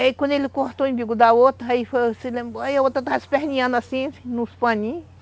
Aí quando ele cortou o umbigo da outra, aí foi, se lembrou... Aí a outra estava se esperninhando assim, nos paninhos.